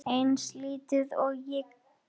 Eins lítil og ég get.